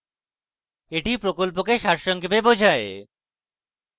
এটি প্রকল্পকে সারসংক্ষেপে বোঝায়